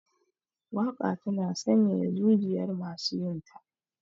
Waka tana sanyaya zujiyar masu jinta.